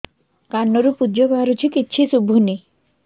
କାନରୁ ପୂଜ ବାହାରୁଛି କିଛି ଶୁଭୁନି